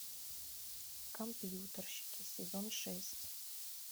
компьютерщики сезон шесть